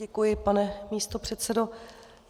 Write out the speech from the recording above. Děkuji, pane místopředsedo.